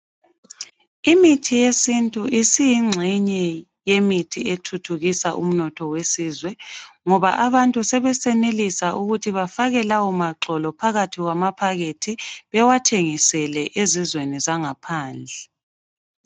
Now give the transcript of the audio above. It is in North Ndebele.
Imithi yesintu isiyingxenye yemithi ethuthukisa umnotho wesizwe ngoba abantu sebesenelisa ukuthi bafake lawo maxolo phakathi kwamaphakethi bewathengisele emazweni angaphandle .